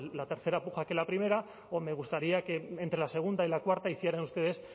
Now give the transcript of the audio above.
la tercera puja que la primera o me gustaría que entre la segunda y la cuarta hicieran ustedes